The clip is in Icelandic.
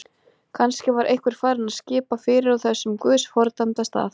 Kannski var einhver farinn að skipa fyrir á þessum guðs fordæmda stað.